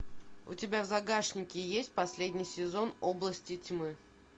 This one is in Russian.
у тебя в загашнике есть последний сезон области тьмы